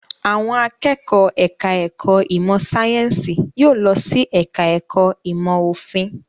Àwọn akẹ́kọ̀ọ́ ẹ̀ka-ẹ̀kọ́ ìmọ̀-sáyẹ́ńsì yóò lọ sí ẹ̀ka-ẹ̀kọ́ ìmọ̀-òfin.